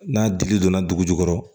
N'a dili donna dugu jukɔrɔ